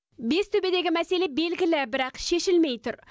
бестөбедегі мәселе белгілі бірақ шешілмей тұр